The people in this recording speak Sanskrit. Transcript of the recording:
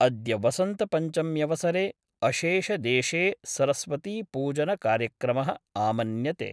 अद्य वसंतपंचम्यवसरे अशेषेदेशे सरस्वतीपूजन कार्यक्रमःआमन्यते।